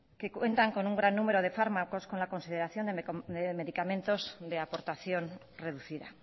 que cuentan con un gran número de fármacos con la consideración en medicamentos de aportación reducida